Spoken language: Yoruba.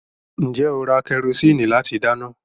Ǹjẹ́ ó ra kẹrosíìnì láti dáná?